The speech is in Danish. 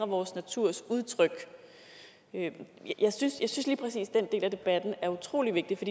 vores naturs udtryk jeg synes at lige præcis den del af debatten er utrolig vigtig for